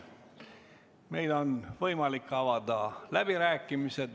Meil on võimalik avada läbirääkimised.